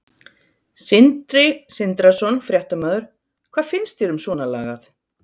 Sindri Sindrason, fréttamaður: Hvað finnst þér um svona lagað?